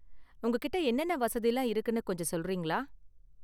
உங்ககிட்ட என்னென்ன வசதிலாம் இருக்குனு கொஞ்சம் சொல்றீங்களா?